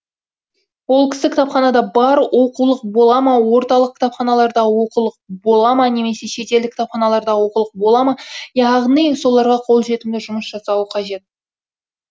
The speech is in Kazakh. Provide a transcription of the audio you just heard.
ол кісі кітапханада бар оқулық бола ма орталық кітапханалардағы оқулық бола ма немесе шетелдік кітапханалардағы оқулық бола ма яғни соларға қолжетімді жұмыс жасауы қажет